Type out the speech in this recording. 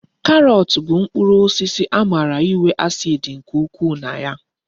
Karọt bụ mkpụrụ osisi amara inwe acid nke ukwu na ya